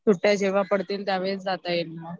सुट्ट्या जेव्हा पडतील त्यावेळेस जाता येईल मग